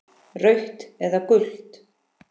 Rautt eða gult?